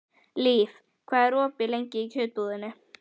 Líf, hvað er opið lengi í Kjörbúðinni?